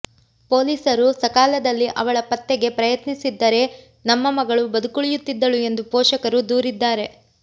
ಪೊಲೀಸರು ಸಕಾಲದಲ್ಲಿ ಅವಳ ಪತ್ತೆಗೆ ಪ್ರಯತ್ನಿಸಿದ್ದರೆ ನಮ್ಮ ಮಗಳು ಬದುಕುಳಿಯುತ್ತಿದ್ದಳು ಎಂದು ಪೋಷಕರು ದೂರಿದ್ದಾರೆ